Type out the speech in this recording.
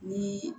Ni